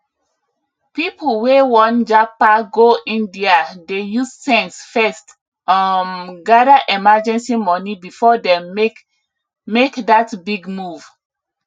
people wey wan japa go india dey use sense first um gather emergency money before dem make make that big move